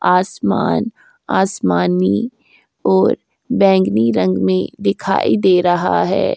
आसमान आसमानी और बैंगनी रंग में दिखाई दे रहा है।